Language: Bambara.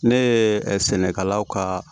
Ne ye sɛnɛkɛlaw ka